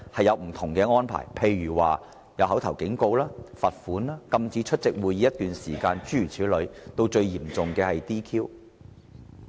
如作出口頭警告、罰款、禁止出席會議一段時間等，以至最嚴重的 "DQ"。